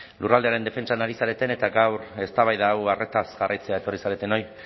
lurraldearen defentsan ari zareten eta gaur eztabaida hau arretaz jarraitzera etorri zaretenoi